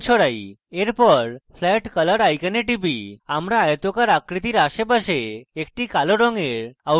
এরপর আমরা flat color icon টিপি আমরা আয়তকার আকৃতির আশেপাশে একটি কালো রঙের outline দেখি